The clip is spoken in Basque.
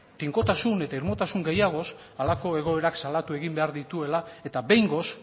tinkotasun eta irmotasun gehiagoz halako egoerak salatu egin behar dituela eta behingoz